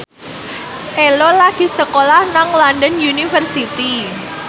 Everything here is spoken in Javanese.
Ello lagi sekolah nang London University